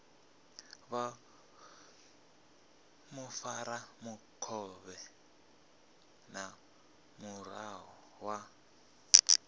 vha mufaramukovhe na muraḓo wa